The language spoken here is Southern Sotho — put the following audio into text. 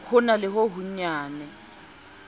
ho na le ho honyane